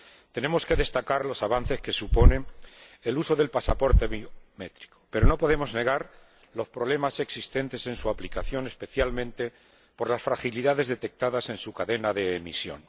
Tenemos que destacar los avances que suponen el uso del pasaporte biométrico, pero no podemos negar los problemas existentes en su aplicación, especialmente por las fragilidades detectadas en su cadena de emisión.